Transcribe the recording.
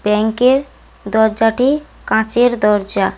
Bank এর দরজাটি কাঁচের দরজা।